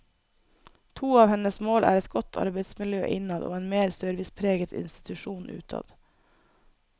To av hennes mål er et godt arbeidsmiljø innad og en mer servicepreget institusjon utad.